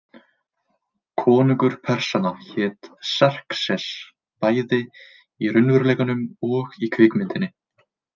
Konungur Persanna hét Xerxes, bæði í raunveruleikanum og í kvikmyndinni.